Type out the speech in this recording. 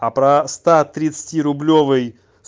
а про ста тридцатирублевой